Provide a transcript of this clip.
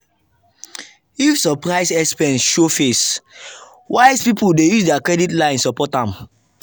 if surprise expense show face wise people dey use their credit line support am.